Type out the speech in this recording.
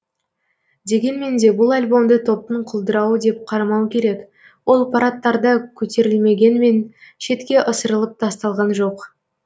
дегенмен де бұл альбомды топтың құлдырауы деп қарамау керек ол парадтарда көтерілмегенмен шетке ысырылып тасталған жоқ